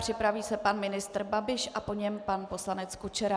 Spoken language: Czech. Připraví se pan ministr Babiš a po něm pan poslanec Kučera.